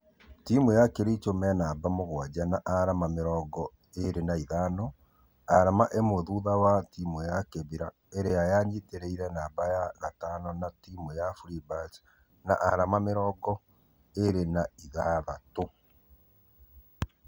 Timũ ya kericho me namba mũgwaja na arama mĩrongo ĩrĩ na ithano , arama imwe thutha wa timũ ya kibra arĩa manyitanĩire namba ya gatano na timũ ya freebirds na arama mĩrongo ĩrĩ na ithathatũ.